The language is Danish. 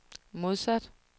modsat